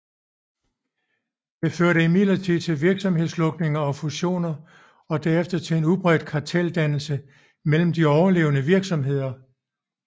Det førte imidlertid til virksomhedslukninger og fusioner og derefter til udbredt karteldannelse mellem de overlevende virksomheder